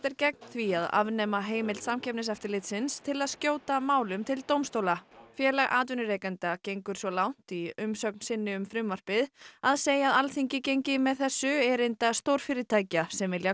er gegn því að afnema heimild Samkeppniseftirlitsins til að skjóta málum til dómstóla félag atvinnurekenda gengur svo langt í umsögn sinni um frumvarpið að segja að Alþingi gengi með þessu erinda stórfyrirtækja sem vilji